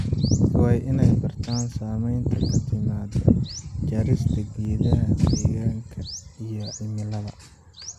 Dadka waa in ay bartaan saamaynta ka timaadda jarista geedaha deegaanka iyo cimilada.